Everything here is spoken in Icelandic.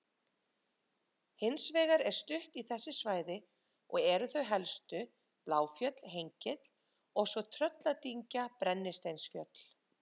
Hins vegar er stutt í þessi svæði og eru þau helstu Bláfjöll-Hengill og svo Trölladyngja-Brennisteinsfjöll.